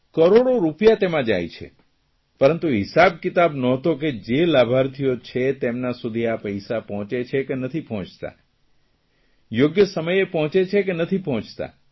કરોડો રૂપિયા તેમાં જાય છે પરંતુ હિસાબ કિતાબ ન્હોતો કે જે લાભાર્થીઓ છે તેમના સુદી આ પૈસા પહોંચે છે કે નથી પહોંચતા